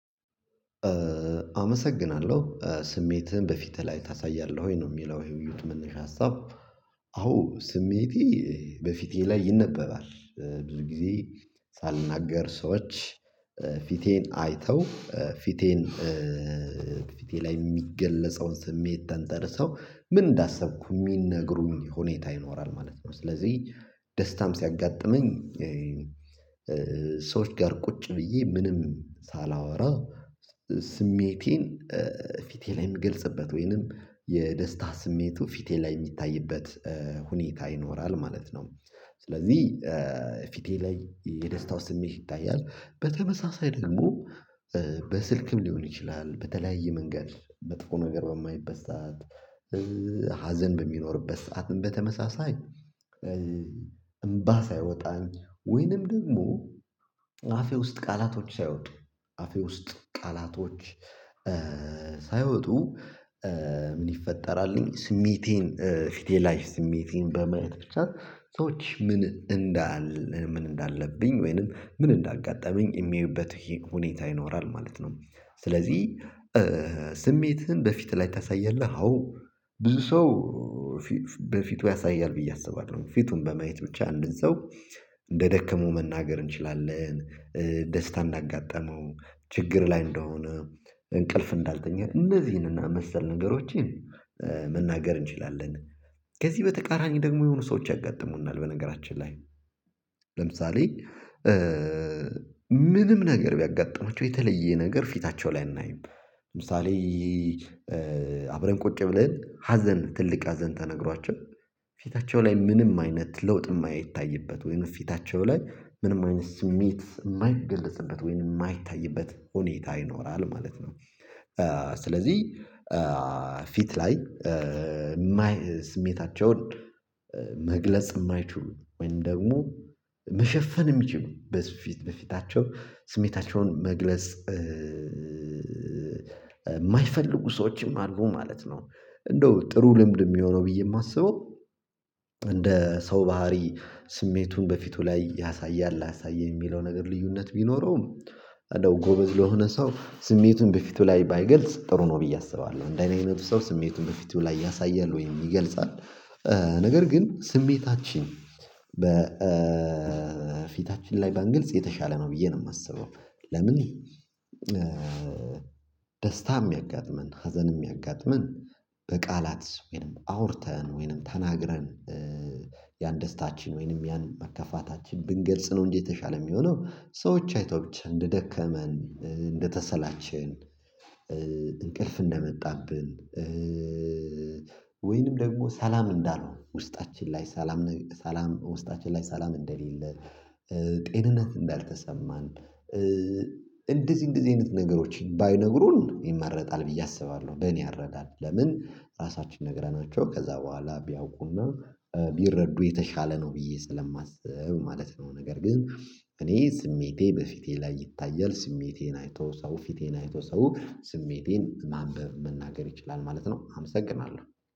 አመሰግናለሁ ስሜትህን በፊትህ ላይ ታሳያለህ ወይ ነው የሚለው የውይይቱ መነሻ ሀሳብ አዎ ስሜቴ በፊቴ ላይ ይነበባል ብዙ ጊዜ ሳልናገር ሰዎች ፊቴን አይተው ፊቴን ፊቴ ላይ የሚገለጸውን ስሜት ተንተርሰው ምን እንዳሰብኩ የሚነግሩኝ ሁኔታ ይኖራል ማለት ነው ስለዚህ ደስታም ሲያጋጥመኝ ሰዎች ጋር ቁጭ ብዬ ምንም ሳላወራ ስሜቴን ፊቴ ላይ የምገልጽበት ወይንም የደስታ ስሜቱ ፊቴ ላይ የሚታይበት ሁኔታ ይኖራል ማለት ነ፤ ስለዚህ ፊቴ ላይ የደስታው ስሜት ይታያል በተመሳሳይ ደግሞ በስልክም ሊሆን ይችላል በተለያየ መንገድ መጥፎ ነገር በማይበት ሰዓት ሀዘን በሚኖርበት ሰዓት በተመሳሳኝ እምባ ሳይወጣኝ ወይንም ደግሞ አፌ ውስጥ ቃላቶች ሳይወጡ አፌ ውስጥ ቃላቶች ሳይወጡ ምን ይፈጠራልኝ ስሜቴን ፊቴ ላይ ስሜቴን በማየት ብቻ ሰዎች ምን እንዳለ ምን እንዳለብኝ ወይንም ምን እንዳጋጠመኝ የሚያዩበት ሁኔታ ይኖራል ማለት ነው ስለዚህ ስሜትህን በፊት ላይ ታሳያለህ አዎ ብዙ ሰው በፊቱ ያሳያል ብዬ አስባለሁኝ ፊቱን በማየት ብቻ አንድ ሰው እንደደከሙ መናገር እንችላለን ደስታ እንዳጋጠመው ችግር ላይ እንደሆነ እንቅልፍ እንዳልተኛ እነዚህንና መሰል ነገሮችን መናገር እንችላለን ከዚህ በተቃራኒ ደግሞ የሆኑ ሰዎች ያጋጥሙናል በነገራችን ላይ ለምሳሌ ምንም ነገር ቢያጋጥማቸው የተለየ ነገር ፊታቸው ላይ አይናይም፤ ለምሳሌ አብረን ቁጭ ብለን ሀዘን ትልቅ ሀዘን ተነግሯቸው ፊታቸው ላይ ምንም አይነት ለውጥ የማይታይበት ወይም ፊታቸው ላይ ምንም አይነት ስሜት የማይገለጽበት ወይም የማይታይበት ሁኔታ ይኖራል ማለት ነው፤ ስለዚህ ፊት ላይ የማይ ስሜታቸውን መግለጽ የማይችሉ ወይም ደግሞ መሸፈን የሚችሉ በሰው በፊት በፊታቸው ስሜታቸውን መግለጽ የማይፈልጉ ሰዎችም አሉ ማለት ነው እንደው ጥሩ ልምድ የሚሆነው ብዬ የማስበው እንደ ሰው ባህሪ ስሜቱን በፊቱ ላይ ያሳያል አያሳይኝ የሚለው ነገር ልዩነት ቢኖረውም እንደው ጎበዝ ለሆነ ሰው ስሜቱን በፊቱ ላይ ባይገልጽ ጥሩ ነው ብዬ አስባለሁ፤ እንደ እኔ አይነቱ ሰው ስሜቱን በፊቱ ላይ ያሳያል ወይ ይገልጻል ነገር ግን ስሜታችን በፊታችን ላይ በአንገልጽ የተሻለ ነው ብዬ ነው የማስበው ለምን ደስታም ያጋጥመን ሀዘንም ያጋጥመን በቃላት ወይንም አውርተን ወይንም ተናግረን ያን ደስታችን ወይንም ያን መከፋታችን ብንገልጽ ነው እንዴ የተሻለ የሚሆነው ሰዎች አይተው ብቻ እንደደከመን እንደተሰላቸን እንቅልፍ እንደመጣብን ወይንም ደግሞ ሰላም እንዳልሆን ውስጣችን ላይ ሰላም ሰላም ውስጣችን ላይ ሰላም እንደሌለ ጤንነት እንዳልተሰማን እንደዚህ እንደዚህ አይነት ነገሮችን ባይነግሩን ይመረጣል ብዬ አስባለሁ በእኔ አረዳድ ለምን ራሳችን ነግረናቸው ከዛ በኋላ ቢያውቁና ቢረዱ የተሻለ ነው ብዬ ስለማስብ ማለት ነው፤ ነገር ግን እኔ ስሜቴ በፊቴ ላይ ይታያል ስሜቴን አይቶ ሰው ፊቴን አይቶ ሰው ስሜቴን ማንበብ መናገር ይችላል ማለት ነው አመሰግናለሁ።